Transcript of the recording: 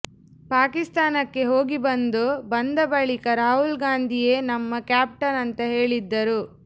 ಪಾಕಿಸ್ತಾನಕ್ಕೆ ಹೋಗಿ ಬಂದು ಬಂದ ಬಳಿಕ ರಾಹುಲ್ ಗಾಂಧಿಯೇ ನಮ್ಮ ಕ್ಯಾಪ್ಟನ್ ಅಂತ ಹೇಳಿದ್ದರು